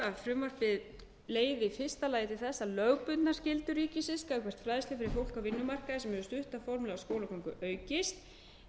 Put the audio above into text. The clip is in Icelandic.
að frumvarpið leiði í fyrsta lagi til þess að lögbundnar skyldur ríkisins gagnvart fræðslu fyrir fólk á vinnumarkaði sem hefur stutta formlega skólagöngu aukist en þó